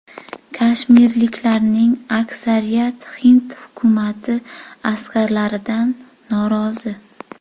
Kashmirliklarning aksariyati hind hukumati askarlaridan norozi.